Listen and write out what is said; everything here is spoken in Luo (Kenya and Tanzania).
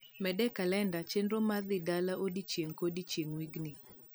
med e kalenda chenro mar dhi dala odiechieng ko diechieng wigni